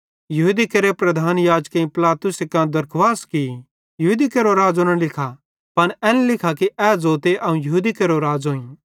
यहूदी केरे प्रधान याजकेईं पिलातुसे कां दरखुवास की यहूदी केरो राज़ो न लिखा पन एन लिखा कि ए ज़ोते अवं यहूदी केरो राज़ोईं